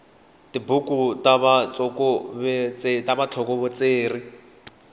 tibuku ta vutsokovetseri